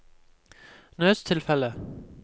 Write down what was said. nødstilfelle